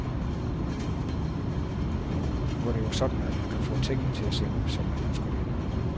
Nu er det jo sådan, at man kan få tingene til at se ud, som man ønsker det.